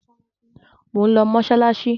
Mò ń lọ mọ́ṣáláṣí.